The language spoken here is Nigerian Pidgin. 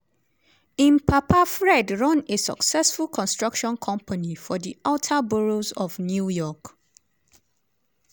im papa fred run a successful construction company for di outer boroughs of new york.